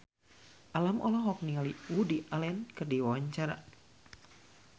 Alam olohok ningali Woody Allen keur diwawancara